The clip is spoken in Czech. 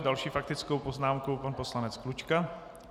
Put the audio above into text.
S další faktickou poznámkou pan poslanec Klučka.